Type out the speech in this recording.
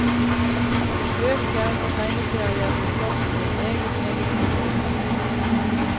Bøker og tegneserier blir solgt for en meget, meget rimelig penge.